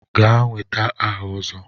Gaa nweta aha Ozo!